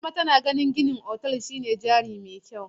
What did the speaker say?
Salima tana ganin gina otal shine jari mai kyau.